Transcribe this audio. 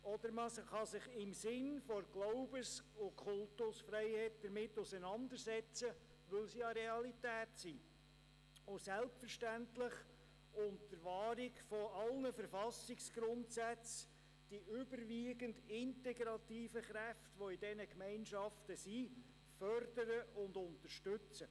Oder man kann sich im Sinn der Glaubens- und Kultusfreiheit mit diesen Religionsgemeinschaften auseinandersetzen, weil sie eine Realität sind, und – selbstverständlich unter Wahrung aller Verfassungsgrundsätze – die überwiegend integrativen Kräfte in diesen Gemeinschaften fördern und unterstützen.